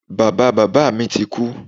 Bàba bàbá mi ti kú.